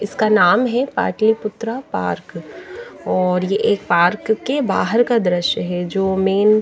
इसका नाम हैं पाटलीपुत्रा पार्क और ये एक पार्क के बाहर का दृश्य है जो मैन --